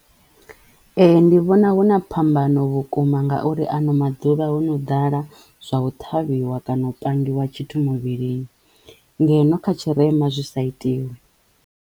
Ee ndi vhona huna phambano vhukuma ngauri ano maḓuvha ho no ḓala zwa u ṱhavhiwa kana u pangiwa tshithu muvhilini ngeno kha tshirema zwi sa itiwi.